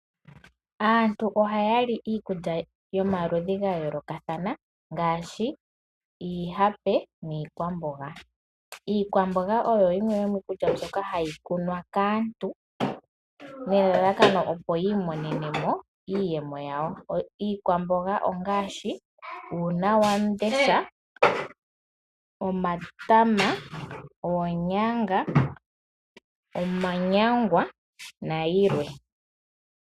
Aantu ohaya li iikulya yomaludhi ga yoolokathana ngaashi iihape niikwamboga. Iikwamboga oyo yimwe yomiikulya mbyoka hayi kunwa kaantu nelalakano opo yi imonene mo iiyemo yawo. Iikwamboga ongaashi uunawamundesha, omatama, oonyanga, omanyangwa nayilwe.